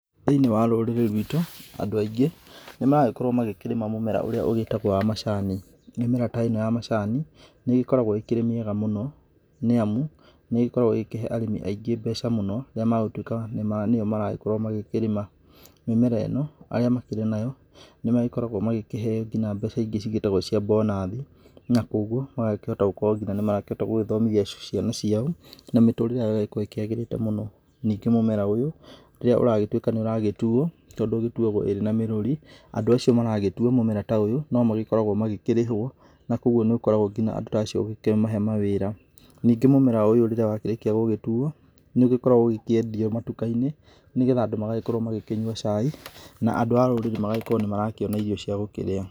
Thĩinĩ wa rũrĩrĩ rwitũ andũ aingĩ nĩ maragĩkorwo magĩkĩrĩma mũmera ũrĩa ũgĩtagwo wa macani. Mĩmera ta ĩno ya macani nĩ ĩgĩkoragwo ĩkĩrĩ mĩega mũno nĩamu nĩ ĩgĩkoragwo ĩgĩkĩhe arĩmi aingĩ mbeca mũno rĩrĩa megũtuĩka nĩo maragĩkorwo magĩkĩrĩma. Mĩmera ĩno arĩa makĩrĩ nayo nĩmagĩkoragwo magĩkĩheyo nginya mbeca ingĩ cĩtagwo cia mbonathi nakoguo magakĩhota gũkorwo nginya nĩmarakĩhota nginya gũgĩthomithia ciana ciao na mĩtũrĩre yao ĩgagĩkorwo ĩkĩagĩrĩte mũno. Ningĩ mũmera ũyũ rĩrĩa ũragĩtuĩka nĩ ũragĩtuo tondũ ĩgĩtuwagwo ĩrĩ na mĩrũri, andũ acio maragĩtua mũmera ta ũyũ no magĩkoragwo magĩkĩrĩhwo na koguo nĩ ũkoragwo ngina andũ ta acio ũgĩkĩmahe mawĩra. Ningĩ mũmera ũyũ rĩrĩa wakĩrĩkia gũgĩtuwo nĩ ũgĩkoragwo ũgĩkĩendio matuka-inĩ nĩgetha andũ magagĩkorwo magĩkĩnyua cai na andũ a rũrĩrĩ magagĩkorwo nĩ marakĩona irio cia gũkĩrĩa.